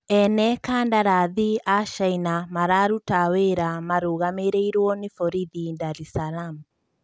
Ene kandarathi a Caina wararuta wĩra marũgamĩrĩirwo nĩ borithi Ndarisalam